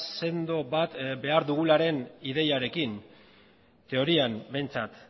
sendo bat behar dugularen ideiarekin teorian behintzat